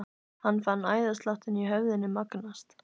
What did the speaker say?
Hann fann æðasláttinn í höfðinu magnast.